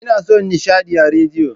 Ina son nishadi a rediyo.